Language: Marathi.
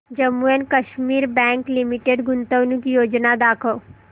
Jammu and Kashmir bank limited गुंतवणूक योजना दाखव